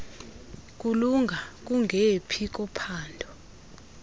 kulunga kungephi kophambo